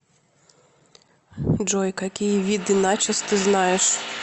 джой какие виды начос ты знаешь